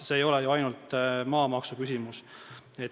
See ei ole ju ainult maamaksuküsimus.